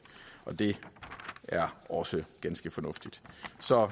og det er også ganske fornuftigt